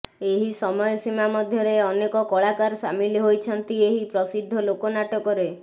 ଏହି ସମୟ ସୀମା ମଧ୍ୟରେ ଅନେକ କଳାକାର ସାମିଲ ହୋଇଛନ୍ତି ଏହି ପ୍ରସିଦ୍ଧ ଲୋକ ନାଟକରେ